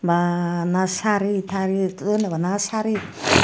bana sari tari uboni bana sari.